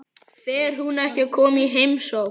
Fer hún ekki að koma í heimsókn?